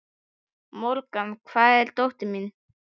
Morgan, hvar er dótið mitt?